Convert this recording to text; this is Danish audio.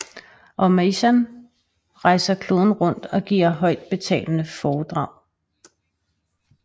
Og Meyssan rejser kloden rundt og giver højtbetalte foredrag